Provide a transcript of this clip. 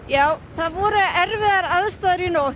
það voru erfiðar aðstæður í nótt